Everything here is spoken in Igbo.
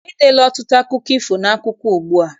E deela ọtụtụ akụkọ ifo n'akwụkwọ ugbua.